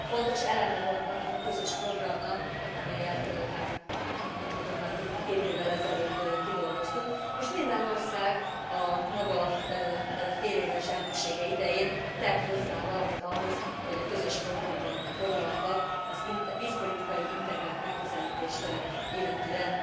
Fontos eleme volt annak a közös programnak, amelyet már több mint két évvel ezelőtt kidolgoztunk, és minden ország a maga féléves elnöksége idején tett hozzá valamit ahhoz, hogy a közös programban foglaltak a vízpolitikai integrált megközelítést illetően